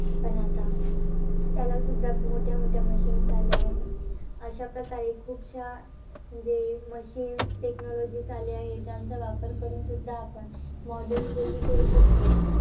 पण आता त्यालासुद्धा मोठ्या-मोठ्या machines आल्या आहेत. अशा प्रकारे खूपशा म्हणजे machines technologies आल्या आहेत. ज्यांचा वापर करूनसुद्धा, आपण modern करू शकतो.